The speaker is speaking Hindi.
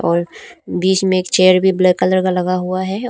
और बीच में एक चेयर भी ब्लैक कलर का लगा हुआ है।